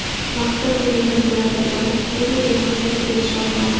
Vaqtida ko‘rilgan chora-tadbirlar tufayli u maqsadiga erisha olmadi.